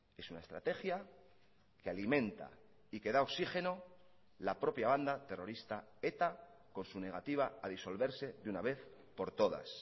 es una estrategia que alimenta y que da oxigeno la propia banda terrorista eta con su negativa a disolverse de una vez por todas